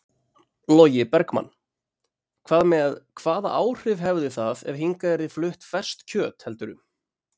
Logi Bergmann: Hvað með, hvaða áhrif hefði það ef hingað yrði flutt ferskt kjöt heldurðu?